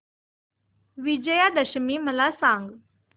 विजयादशमी मला सांग